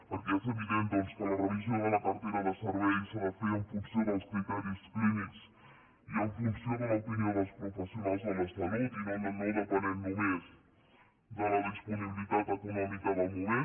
perquè és evident doncs que la revisió de la cartera de serveis s’ha de fer en funció dels criteris clínics i en funció de l’opinió dels professionals de la salut i no depenent només de la disponibilitat econòmica del moment